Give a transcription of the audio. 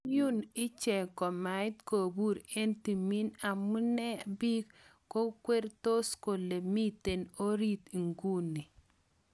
Konyun, icheng komait kopur en timin, amune agn pik kwarangetos kole miten orit iguni?